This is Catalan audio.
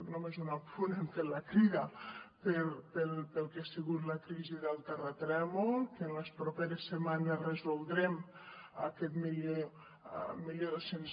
només un apunt hem fet la crida pel que ha sigut la crisi del terratrèmol que en les properes setmanes resoldrem aquest mil dos cents